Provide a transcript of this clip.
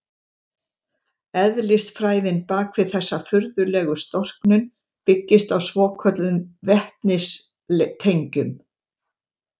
Eðlisfræðin bak við þessa furðulegu storknun byggist á svokölluðum vetnistengjum.